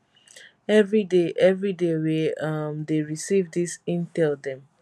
evriday evriday we um dey receive dis intel dem